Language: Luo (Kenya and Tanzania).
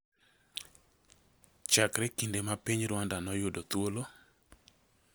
chakre kinde ma piny Rwanda noyudo thuolo.